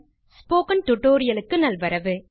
spoken tutorial க்கு நல்வரவு